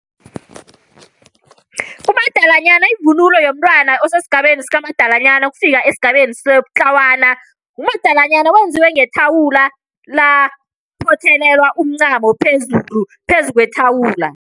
Umadalanyana ivunulo yomntwana osesigabeni sakamadalanyana, ukufika esigabeni sobutlawana. Umadalanyana wenziwe ngethawula laphothelelwa umncamo phezulu, phezu kwethawula.